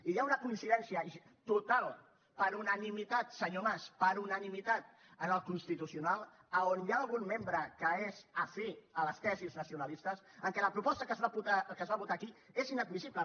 i hi ha una coincidència total per unanimitat senyor mas per unanimitat en el constitucional a on hi ha algun membre que és afí a les tesis nacionalistes que la proposta que es va votar aquí és inadmissible